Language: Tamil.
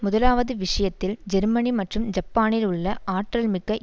முதலாவது விஷயத்தில் ஜெர்மனி மற்றும் ஜப்பானில் உள்ள ஆற்றல் மிக்க